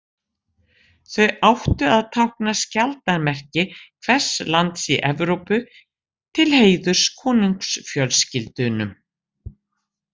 Þau áttu að tákna skjaldarmerki hvers lands í Evrópu til heiðurs konungsfjölskyldunum.